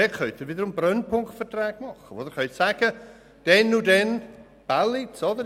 Dort können Sie wiederum Brennpunktverträge machen und beispielsweise sagen, dann und dann im Bälliz.